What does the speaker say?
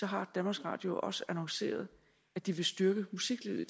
har danmarks radio også annonceret at de vil styrke musiklivet i